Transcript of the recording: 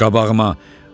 Düş qabağıma.